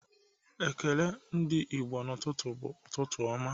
Ekele ndị Igbo n'ụtụtụ bụ ụtụtụ ọma